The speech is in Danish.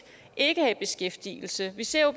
ikke er i beskæftigelse vi ser jo